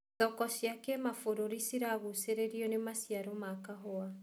Thoko cia kĩmabururi ciragucĩrĩrio nĩ maciaro ma kahũa.